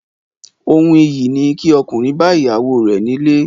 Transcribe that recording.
Ohun iyì ni kí ọkùnrin bá ìyàwó rẹ̀ nílé